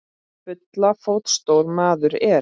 Bulla fótstór maður er.